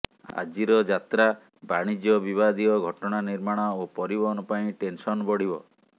ଆଜିର ଯାତ୍ରା ବାଣିଜ୍ୟ ବିବାଦିୟ ଘଟଣା ନିର୍ମାଣ ଓ ପରିବହନ ପାଇଁ ଟେନ୍ସନ ବଢିବ